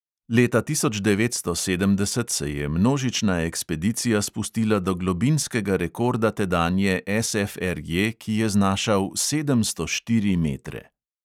Leta tisoč devetsto sedemdeset se je množična ekspedicija spustila do globinskega rekorda tedanje SFRJ, ki je znašal sedemsto štiri metre.